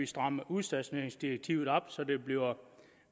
stramme udstationeringsdirektivet op så det bliver